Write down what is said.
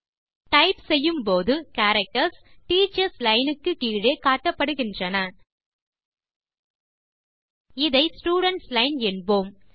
type செய்யும்போது characters Teachers line க்கு கீழே காட்டப்படுகின்றன இதை ஸ்டூடென்ட்ஸ் லைன் என்போம்